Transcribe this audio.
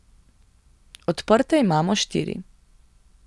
Odprte imamo štiri.